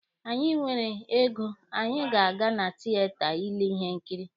Anyị nwere ego, anyị ga-aga na tieta ile ihe nkiri